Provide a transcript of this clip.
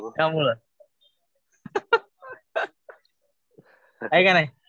याच्यामुळं. है का नाही.